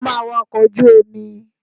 Sọ máa wa ọkọ̀ ojú omi?